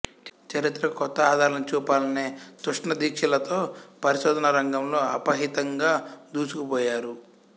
చరిత్రకు కొత్త ఆధారాలను చూపాలనే తృష్న దీక్షలతో పరిశోధనారంగంలో అప్రతిహితంగా దుసుకుపోయారు